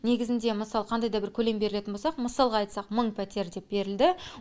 негізінде мысалы қандай да бір көлем берілетін болсақ мысалға айтсақ мың пәтер деп берілді